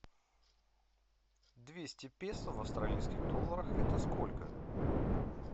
двести песо в австралийских долларах это сколько